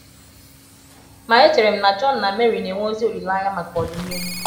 Ma echere m na John na Mary na - enwe ezi olileanya maka ọdịnihu. ”